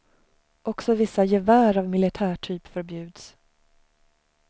Också vissa gevär av militärtyp förbjuds.